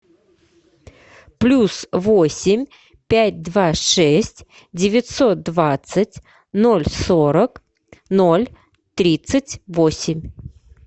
плюс восемь пять два шесть девятьсот двадцать ноль сорок ноль тридцать восемь